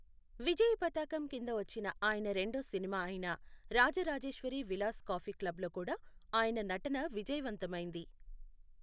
విజయ పతాకం కింద వచ్చిన ఆయన రెండో సినిమా అయిన రాజ రాజేశ్వరి విలాస్ కాఫీ క్లబ్లో కూడా ఆయన నటన విజయవంతమైంది.